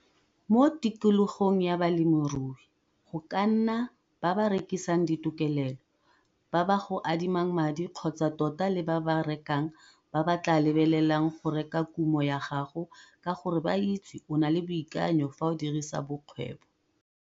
Mo tikologong ya bolemirui go ka nna ba ba rekisang ditokelelo, ba ba go adimang madi kgotsa tota le ba ba rekang ba ba tlaa lebelelang go reka kumo ya gago ka gore ba itse o na le boikanyo fa o dirisa bokgwebo.